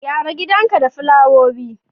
Gyara gidanka da fulawowi.